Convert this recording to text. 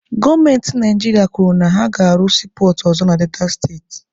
Gọọmenti Naijiria kwuru na ha ga-arụ siipọọtụ ọzọ na Delta steeti.